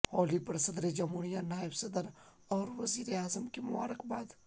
ہولی پر صدر جمہوریہ نائب صدر اور وزیراعظم کی مبارکباد